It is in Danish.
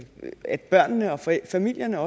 at børnene og familierne